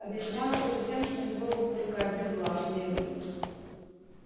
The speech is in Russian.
объяснялось это тем что у него был только один глаз левый